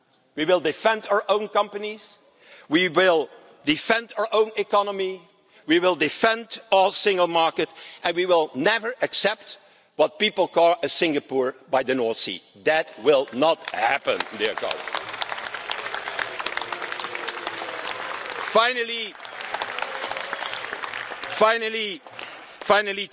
We will defend our own companies, we will defend our own economy, we will defend our single market and we will never accept what people call a Singapore by the North Sea'. That will not happen. Finally,